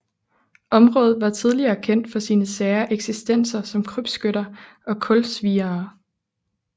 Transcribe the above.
Området var tidligere kendt for sine sære eksistenser som krybskytter og kulsviere